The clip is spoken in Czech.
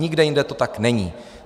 Nikde jinde to tak není.